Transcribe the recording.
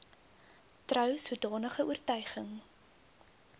trou sodanige oortuiging